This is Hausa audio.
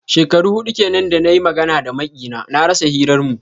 Shekaru hudu kenan da na yi magana da makiyina, na rasa hirarmu.